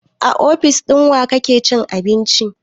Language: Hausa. A ofis ɗin wa kake cin abinci?